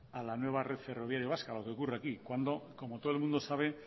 a la nueva red ferroviaria vasca lo que ocurre aquí cuando como todo el mundo sabe